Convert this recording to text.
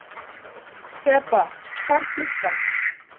Þeba, hvað er klukkan?